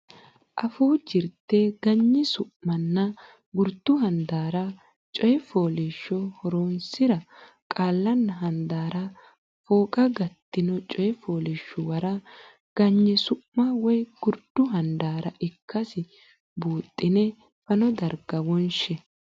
Afuu Jirte Ganyi Su manna Gurdu Handaara Coy fooliishsho Horonsi ra qaallanna handaarra fooqa gattino coy fooliishshuwara ganyi su ma woy gurdu handaara ikkasi buuxxine fano darga wonshe.